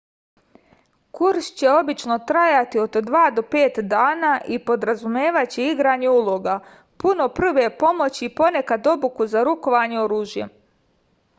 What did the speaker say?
kurs će obično trajati od 2 do 5 dana i podrazumevaće igranje uloga puno prve pomoći i ponekad obuku za rukovanje oružjem